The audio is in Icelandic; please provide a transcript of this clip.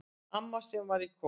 Amma sem var í kór.